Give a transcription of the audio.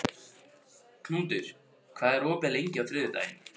Knútur, hvað er opið lengi á þriðjudaginn?